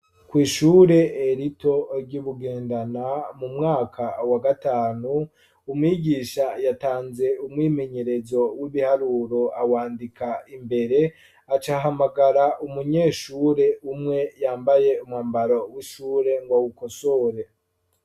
Kw'ishure rito ry'Ibugendana, mu mwaka wa gatanu, umwigisha yatanze umwimenyerezo w'ibiharuro, awandika imbere, aca ahamagara umunyeshure umwe yambaye umwambaro w'ishure ngo awukosore.